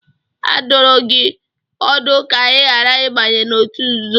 A dụrụ gị ọdụ ka ị ghara ịbanye n'òtù nzuzo.